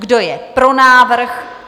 Kdo je pro návrh?